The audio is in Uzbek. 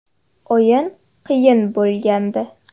O‘yin qiyin bo‘lgandi.